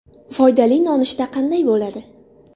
Foydali nonushta qanday bo‘ladi?.